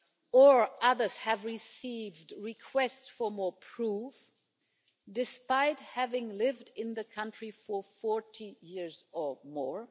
Or others have received requests for more proof, despite having lived in the country for 40 years or more.